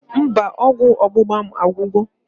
Mba, ọgwụ ọgbụgba agwugo